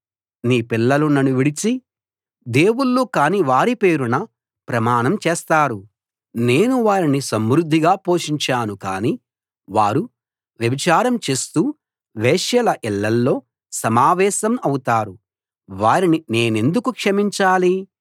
నీ పిల్లలు నన్ను విడిచి దేవుళ్ళు కాని వారి పేరున ప్రమాణం చేస్తారు నేను వారిని సమృద్ధిగా పోషించాను కానీ వారు వ్యభిచారం చేస్తూ వేశ్యల ఇళ్ళలో సమావేశం అవుతారు వారిని నేనెందుకు క్షమించాలి